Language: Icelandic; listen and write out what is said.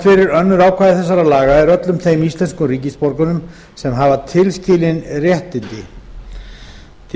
fyrir önnur ákvæði þessara laga er öllum þeim íslenskum ríkisborgurum sem hafa tilskilin réttindi til